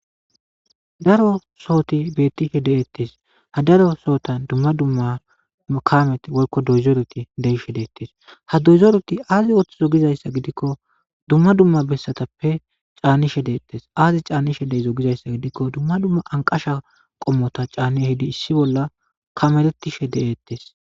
Daro sohothi beeththishe de7eeththes; ha daro sohotha dumma dumma nu kaamethi woykko dooyzerethi goyishe deeththes; ha dooyzethi aazi ooththido gizayssa giikko dumma dumma bessathappe caanishe deeththes; aaze caanishe dizayssa gidikko dumma dumma anqqasha qommotha caani ehidi issi bolla kamereththishe de7eeththes.